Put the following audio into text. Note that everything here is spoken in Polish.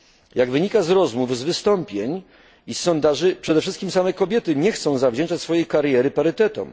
Jak wynika z rozmów, z wystąpień i sondaży, przede wszystkim same kobiety nie chcą zawdzięczać swojej kariery parytetom.